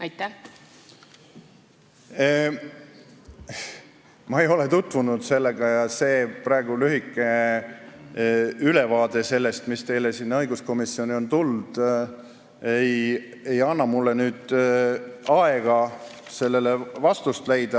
Ma ei ole selle arvamusega tutvunud ja praegune lühike ülevaade sellest, mis teile õiguskomisjoni on tulnud, ei anna mulle võimalust sellele kohe vastust leida.